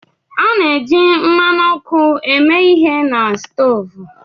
A na-eji mmanụ ọkụ eme ihe na stoovu